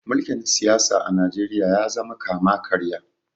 mulkin siyasa a najeriya ya zama kama karya